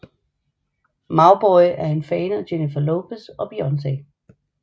Mauboy er en fan af Jennifer Lopez og Beyoncé